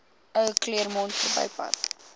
ou claremont verbypad